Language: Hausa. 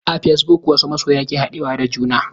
A fasebuk wasu masoya ke haɗuwa da juna.